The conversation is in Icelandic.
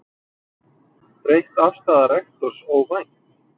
Breytt afstaða rektors óvænt